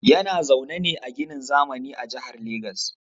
Yana zaune ne a ginin zamani a Jihar Lagos